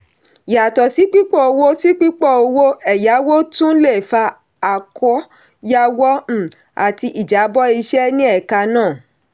yàtọ̀ sí pípọ̀ owó sí pípọ̀ owó ẹ̀yáwó tún le fa àkóyawọ́ um àti ìjábọ̀ iṣẹ́ ní ẹ̀ka náà.